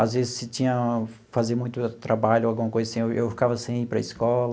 Às vezes, se tinha fazer muito trabalho ou alguma coisa assim, eu eu ficava sem ir para a escola.